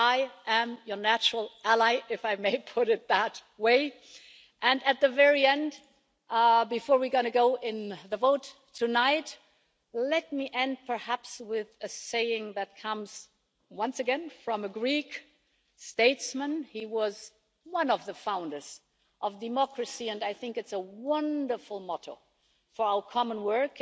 I am your natural ally, if I may put it that way, and at the very end, before we're going to go to the vote tonight, let me end with a saying that comes, once again, from a Greek statesman. He was one of the founders of democracy and I think it's a wonderful motto for our common work.